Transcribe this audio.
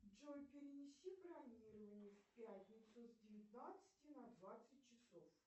джой перенеси бронирование в пятницу с девятнадцати на двадцать часов